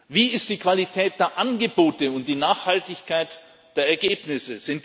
Wie ist die Qualität der Angebote und die Nachhaltigkeit der Ergebnisse?